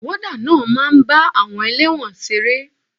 Wọ́dà náà máa ń bá àwọn elẹ́wọ̀n ṣeré.